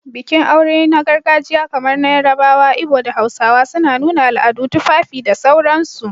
Bikin aure na gargajiya kamar na Yarabawa, Ibo, da Hausawa, suna nuna al'adu, tufafi, da sauransu